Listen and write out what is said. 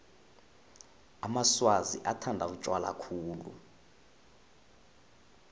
amaswazi bathanda utjwala khulu